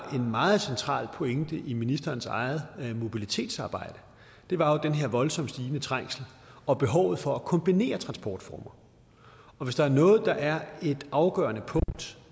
en meget central pointe i ministerens eget mobilitetsarbejde var jo den her voldsomt stigende trængsel og behovet for at kombinere transportformer og hvis der er noget der er et afgørende punkt